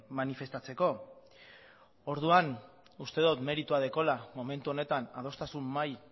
manifestatzeko orduan uste dut meritua daukala momentu honetan adostasun mahai